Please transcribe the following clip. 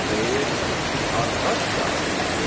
Xeyr, arvad yazıqdır.